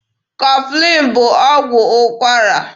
Kọflin bụ ọgwụ ụkwara.